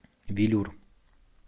велюр